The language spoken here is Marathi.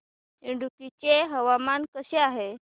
इडुक्की चे हवामान कसे आहे